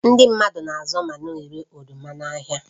Ndị mmadụ na-azụ ma na-ere oroma n'ahịa